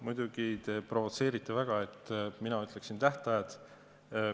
Muidugi, te provotseerite väga, et ma ütleksin tähtajad.